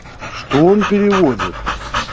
что он переводит